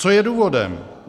Co je důvodem?